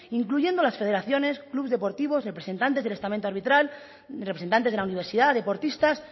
incluyendo las federaciones clubes deportivos representantes del estamento arbitral representantes de la universidad deportistas